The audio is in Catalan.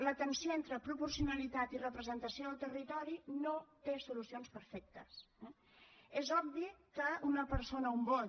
la tensió entre proporcionalitat i representació del territori no té solucions perfectes eh és obvi que una persona un vot